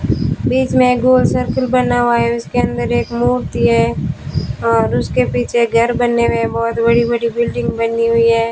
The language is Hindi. बीच में एक गोल सर्कल बना हुआ है उसके अंदर एक मूर्ति है और उसके पीछे घर बने हुए हैं बहुत बड़ी बड़ी बिल्डिंग बनी हुई है।